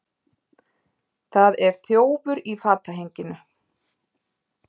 Það er þjófur í fatahenginu.